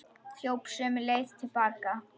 Hljóp sömu leið til baka.